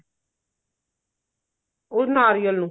ਉਹ ਨਾਰੀਅਲ ਨੂੰ